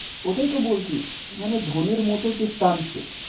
ওটাই তো বলছি, মানে ধোনির মতো যে টানছে,